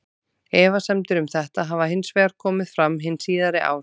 Efasemdir um þetta hafa hins vegar komið fram hin síðari ár.